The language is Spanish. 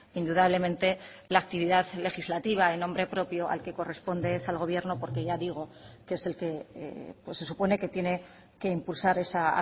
indudablemente la actividad legislativa en nombre propio al que corresponde es al gobierno porque ya digo que es el que se supone que tiene que impulsar esa